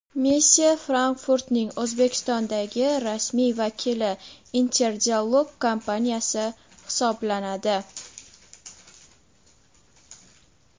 Messe Frankfurt’ning O‘zbekistondagi rasmiy vakili Inter Dialog kompaniyasi hisoblanadi.